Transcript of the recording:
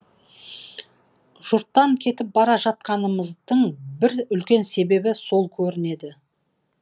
жұрттан кетіп бара жатқанымыздың бір үлкен себебі сол көрінеді